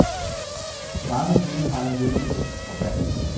Mange hunde har en lidenskab for vand.